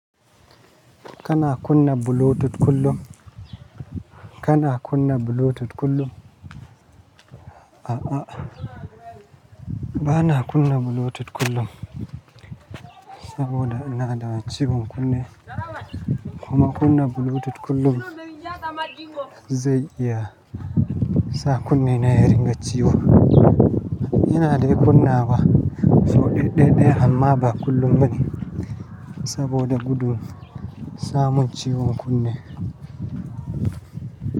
Kana kunna Bluetooth kullum? Kana kunna Bluetooth kullum? A'a, ba na kunna Bluetooth kullum saboda ina da ciwon kunne. Kuma kunna Bluetooth kullum zai iya sa kunne na ya ringa ciwo. Ina dai kunna wa, sau ɗai-ɗai amma ba kullum bane saboda gudun samun ciwon kunne.